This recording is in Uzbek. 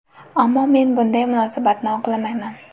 Ammo men bunday munosabatni oqlamayman.